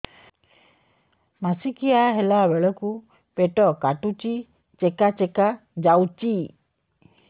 ମାସିକିଆ ହେଲା ବେଳକୁ ପେଟ କାଟୁଚି ଚେକା ଚେକା ଯାଉଚି